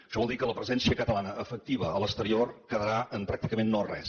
això vol dir que la presència catalana efectiva a l’exterior quedarà en pràcticament no res